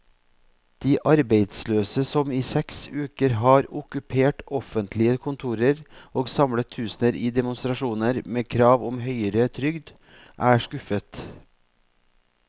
De arbeidsløse, som i seks uker har okkupert offentlige kontorer og samlet tusener i demonstrasjoner med krav om høyere trygd, er skuffet.